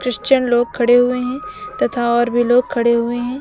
Christian लोग खड़े हुए हैं तथा और भी लोग खड़े हुए हैं।